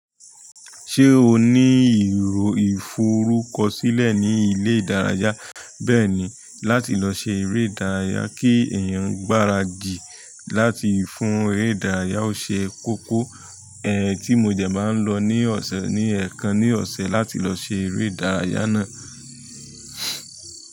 Ṣé o ní ìrò forúkọ sílẹ̀ ní ilé ìdárayá bẹ́ẹ̀ ni láti lọ ṣe eré ìdárayá kí èèyàn gbáradì láti fún eré ìdárayá. Ó ṣe kókó ẹ ti mo dẹ̀ máa ń lọ ní ọ̀sẹ̀ ní èèkàn ní ọ̀sẹ̀ láti lọ ṣe eré ìdárayá náà.